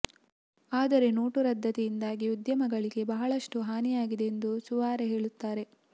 ಆದರೆ ನೋಟು ರದ್ದತಿಯಿಂದಾಗಿ ಉದ್ಯಮಿಗಳಿಗೆ ಬಹಳಷ್ಟು ಹಾನಿಯಾಗಿದೆ ಎಂದು ಸುವಾರೆ ಹೇಳುತ್ತಾರೆ